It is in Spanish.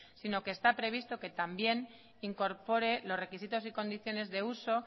sino que está previsto que también incorpore los requisitos y condiciones de uso